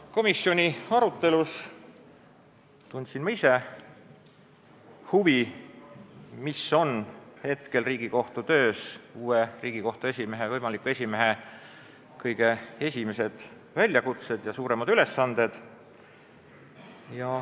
Komisjoni arutelus tundsin ma ise huvi, mis on Riigikohtu töös uue Riigikohtu esimehe, võimaliku esimehe kõige esimesed suuremad ülesanded.